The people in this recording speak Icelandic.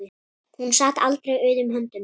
Hún sat aldrei auðum höndum.